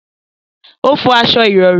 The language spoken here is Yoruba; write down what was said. O fọ aṣọ ìrọ̀rí